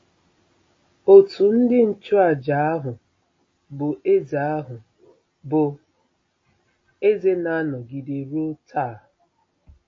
Òtù ndị nchụàjà ahụ bụ́ eze ahụ bụ́ eze na-anọgide ruo taa.